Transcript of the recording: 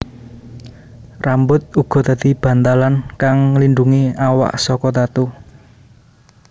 Rambut uga dadi bantalan kang nglindungi awak saka tatu